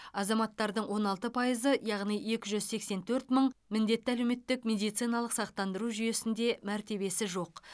азаматтардың он алты пайызы яғни екі жүз сексен төрт мың міндетті әлеуметтік медициналық сақтандыру жүйесінде мәртебесі жоқ